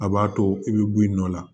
A b'a to i bɛ bɔ i nɔ la